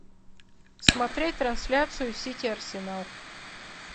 смотреть трансляцию сити арсенал